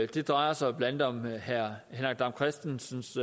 det drejer sig blandt andet om herre henrik dam kristensens